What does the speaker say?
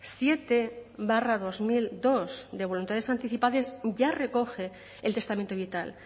siete barra dos mil dos de voluntades anticipadas ya recoge el testamento vital